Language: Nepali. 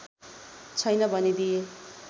छैन भनिदिए